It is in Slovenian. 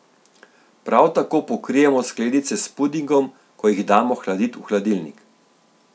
Prav tako pokrijemo skledice s pudingom, ko jih damo hladit v hladilnik.